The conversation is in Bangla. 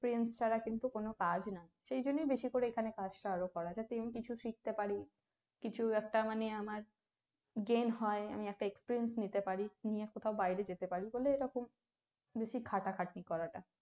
Experience ছাড়া কিছু কোনো কাজ না। সেজন্য বেশি করে এখানে কাজটা আরো করা। যাতে করে আমি কিছু শিখতে পারি, কিছু একটা মানে আমার gain হয়, আমি একটা experience নিতে পারি, নিয়ে কোথাও বাইরে যেতে পারি ফলে এরকম বেশি খাটাখাটনি করাটা